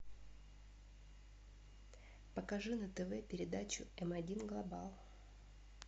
покажи на тв передачу эм один глобал